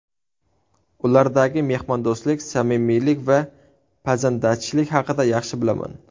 Ulardagi mehmondo‘stlik, samimiylik va pazandachilik haqida yaxshi bilaman.